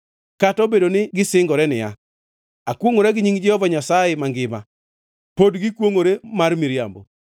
Kata obedo ni gisingore niya, ‘Akwongʼora gi nying Jehova Nyasaye mangima,’ pod gikwongʼore mar miriambo.”